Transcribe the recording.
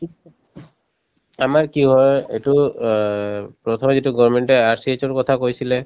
আমাৰ কি হয় এইটো অ প্ৰথমে যিটো government য়ে RCSৰ কথা কৈছিলে